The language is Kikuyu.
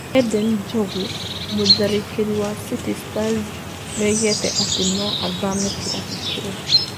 Eden Njogu: mutharĩkĩri wa City Stars nĩ oigĩte ati no athame kirabu kĩu